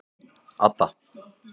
Adda